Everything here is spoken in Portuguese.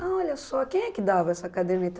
ah, olha só, quem é que dava essa caderneta?